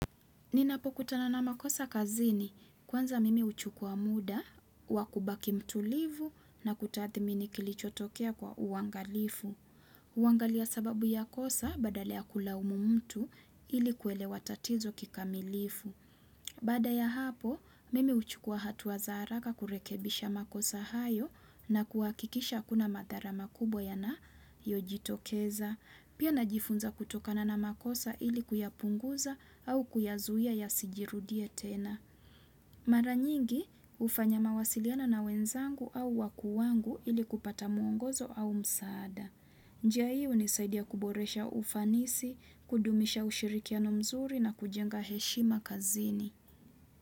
Ninapokutana na makosa kazini, kwanza mimi huchukua muda, wa kubaki mtulivu na kutathmini kilichotokea kwa uangalifu. Huangalia sababu ya kosa badala ya kulaumu mtu ili kuelewa tatizo kikamilifu. Baada ya hapo, mimi huchukua hatua za haraka kurekebisha makosa hayo na kuhakikisha hakuna madhara makubwa yanayojitokeza. Pia najifunza kutokana na makosa ili kuyapunguza au kuyazuia yasijirudie tena. Mara nyingi hufanya mawasiliana na wenzangu au wakuu wangu ili kupata mwongozo au msaada. Njia hii hunisaidia kuboresha ufanisi, kudumisha ushirikiano mzuri na kujenga heshima kazini.